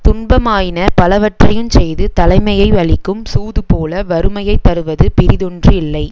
துன்பமாயின பலவற்றையுஞ் செய்து தலைமையை யழிக்கும் சூதுபோல வறுமையைத் தருவது பிறிதொன்று இல்லை